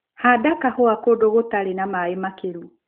Handa kahũa kũndũ gũtarĩ na maĩ makĩru.